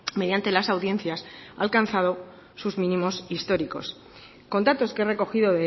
mediante las audiencias ha alcanzado sus mínimos históricos con datos que he recogido